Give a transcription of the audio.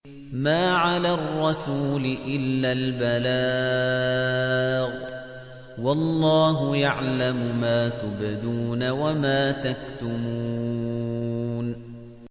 مَّا عَلَى الرَّسُولِ إِلَّا الْبَلَاغُ ۗ وَاللَّهُ يَعْلَمُ مَا تُبْدُونَ وَمَا تَكْتُمُونَ